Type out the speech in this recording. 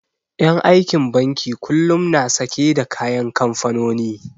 En aikin banki kullum na sake da kayan kamfanoni